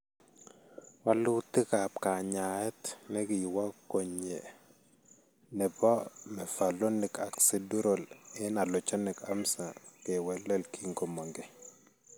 Walutikap kanyaayet ne kiwo konyee nebo mevalonic acidural en allogenic amsa kewelel kikomong keey.